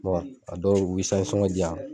a dɔw mi sɔngɔn di yan.